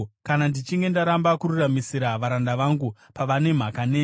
“Kana ndichinge ndaramba kururamisira varanda vangu, pavane mhaka neni,